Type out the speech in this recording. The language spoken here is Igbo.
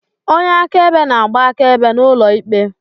Onye akaebe na-agba akaebe n'ụlọ ikpe.